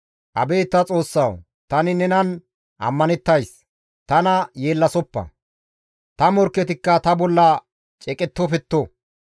Abeet ta Xoossawu! Tani nenan ammanettays; tana yeellasoppa; ta morkketikka ta bolla ceeqettofetto.